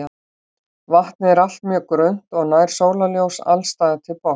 Vatnið er allt mjög grunnt og nær sólarljós alls staðar til botns.